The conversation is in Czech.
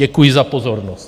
Děkuji za pozornost.